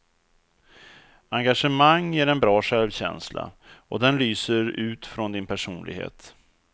Engagemang ger en bra självkänsla, och den lyser ut från din personlighet.